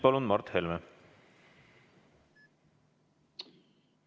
Palun, Mart Helme!